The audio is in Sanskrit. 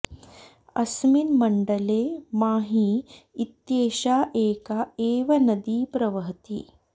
अस्मिन् मण्डले माही इत्येषा एका एव नदी प्रवहति